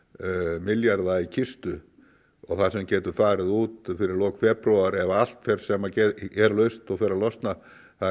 milljarða í kistu og það sem getur farið út fyrir lok febrúar ef allt fer sem er laust og fer að losna það er